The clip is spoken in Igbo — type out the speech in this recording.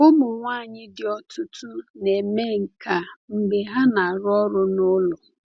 Ụmụ nwanyị di ọtụtụ na-eme nke a mgbe ha na-arụ ọrụ n’ụlọ.